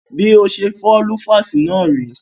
Bí ọtí ṣe fọ́ lüfáásì náà rèé.